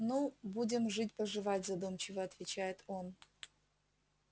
ну будем жить поживать задумчиво отвечает он